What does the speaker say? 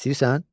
İstəyirsən?